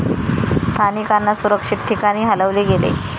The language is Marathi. स्थानिकांना सुरक्षित ठिकाणी हलवले गेले.